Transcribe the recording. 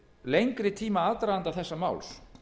lengri tíma aðdraganda þessa máls